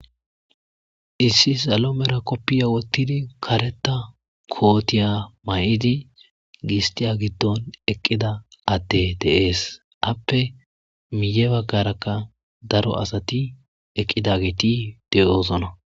issi salo mera koppiya wottidi kareta kootiya may7idi gistiya giddon eqqida atte deees appe miye baggarakka daro asati eqqida giiti de7oosona